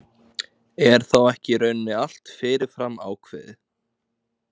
Er þá ekki í rauninni allt fyrirfram ákveðið.